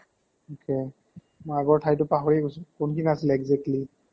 okay, মই আগৰ ঠাইটো পাহৰি গৈছো, কোনখিনি আছিলে exactly ?